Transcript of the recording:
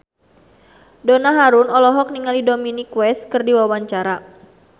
Donna Harun olohok ningali Dominic West keur diwawancara